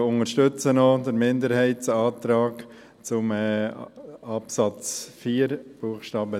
Wir unterstützen auch den Minderheitsantrag zu Absatz 4 Buchstabe